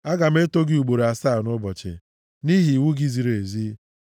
Aga m eto gị ugboro asaa nʼụbọchị, nʼihi iwu gị ziri ezi.